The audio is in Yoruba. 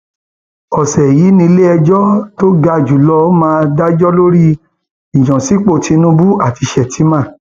ọsẹ yìí níléẹjọ tó ga jù lọ máa dájọ lórí ìyànsípò tinubu àti sheffman